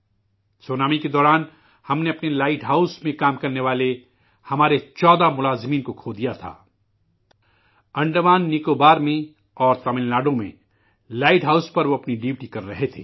tsunami کے دوران ہم نے اپنے لائٹ ہاؤس میں کام کرنے والے، اپنے،14 ملازمین کو کھو دیا تھا، انڈمان نکوبار اور تمل ناڈو میں لائٹ ہاؤس میں وہ اپنی ڈیوٹی کر رہے تھے